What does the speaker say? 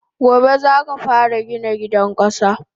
Gobe zaka fara Gina gidan kasa!